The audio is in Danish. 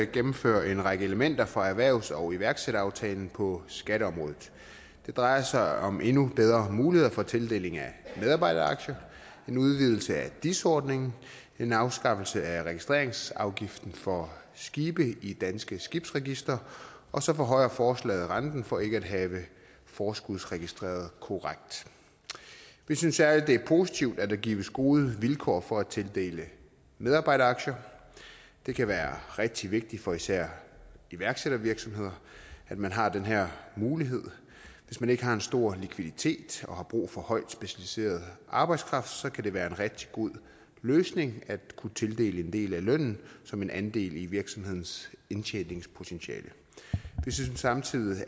gennemfører en række elementer fra erhvervs og iværksætteraftalen på skatteområdet det drejer sig om endnu bedre muligheder for tildeling af medarbejderaktier en udvidelse af dis ordningen en afskaffelse af registreringsafgiften for skibe i danske skibsregistre og så forhøjer forslaget renten for ikke at have forskudsregistreret korrekt vi synes særlig det er positivt at der gives gode vilkår for at tildele medarbejderaktier det kan være rigtig vigtigt for især iværksættervirksomheder at man har den her mulighed hvis man ikke har en stor likviditet og har brug for højt specialiseret arbejdskraft kan det være en rigtig god løsning at kunne tildele en del af lønnen som en andel i virksomhedens indtjeningspotentiale vi synes samtidig